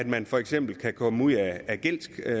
man for eksempel kan komme ud af gældsklemmen